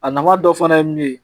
A nafa dɔ fana ye mun ye